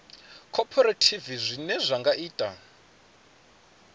khophorethivi zwine zwa nga ita